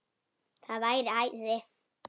Það væri æði